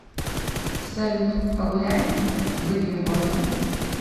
салют погуляем выпьем кофе